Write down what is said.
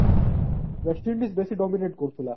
west indies ବେଶି dominate କରୁଥିଲା